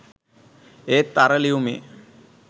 ඒත් අර ලියුමේ